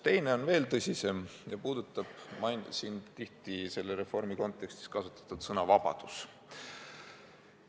Teine on veel tõsisem ja puudutab selle reformi kontekstis tihti kasutatud sõna "vabadus".